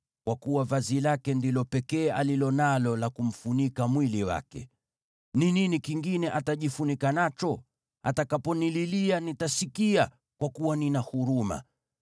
kwa kuwa vazi lake ndilo pekee alilo nalo la kumfunika mwili wake. Ni nini kingine atajifunika nacho? Atakaponililia, nitasikia, kwa kuwa nina huruma.